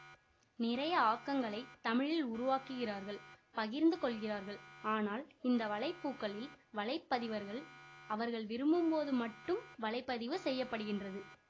நிறைய ஆக்கங்களைத் தமிழில் உருவாக்குகிறார்கள் பகிர்ந்து கொள்கிறார்கள் ஆனால் இந்த வலைப்பூக்களில் வலைப்பதிவர்கள் அவர்கள் விரும்பும்போது மட்டும் வலை பதிவு செய்ய படுகின்றது